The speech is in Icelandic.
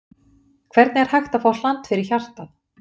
Hvernig er hægt að fá hland fyrir hjartað?